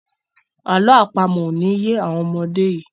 àlọ́ àpamọ̀ o ní ye àwọn ọmọdé yí